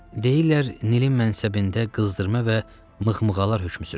Deyirlər, Nilin mənsəbində qızdırma və mıxmığalar hökm sürür.